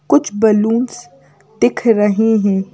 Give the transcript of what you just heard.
कुछ बैलूंस दिख रहे हैं।